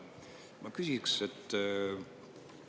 Ma küsiks niimoodi.